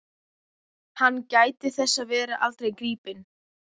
Hann gæti þess að verða aldrei gripinn.